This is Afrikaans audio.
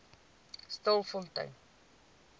stilfontein